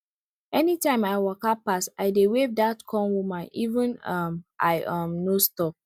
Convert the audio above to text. anytime i waka pass i dey wave that corn woman even if um i um no stop